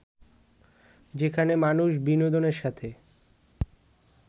যেখানে মানুষ বিনোদনের সাথে